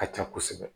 Ka ca kosɛbɛ